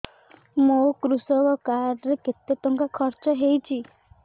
ମୋ କୃଷକ କାର୍ଡ ରେ କେତେ ଟଙ୍କା ଖର୍ଚ୍ଚ ହେଇଚି